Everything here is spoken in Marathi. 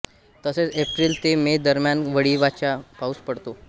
तसेच एप्रिल ते मे दरम्यान वळीवाचा पाऊस पडतो